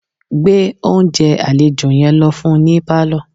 Gbé oúnjẹ àlejò yẹn lọ fún un ní pálọ̀